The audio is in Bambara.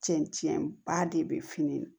Cɛncɛn ba de bɛ fini na